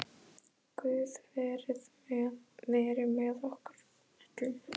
Guð veri með okkur öllum.